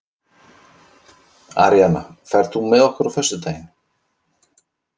Aríanna, ferð þú með okkur á föstudaginn?